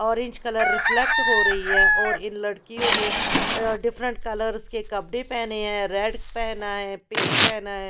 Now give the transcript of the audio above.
Orange colour reflect हो रही है और इन लड़कियों ने डिफरेंट कलर्स के कपड़े पहने हैं रेड पहना है पिंक पहना है।